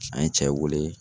An ye cɛ wele